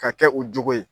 Ka kɛ u jogo ye